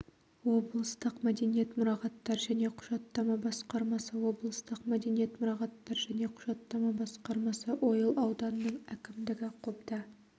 облыстық мәдениет мұрағаттар және құжаттама басқармасы облыстық мәдениет мұрағаттар және құжаттама басқармасы ойыл ауданының әкімдігі қобда